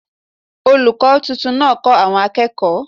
Olùkọ́ tuntun náà kó àwọn akekooy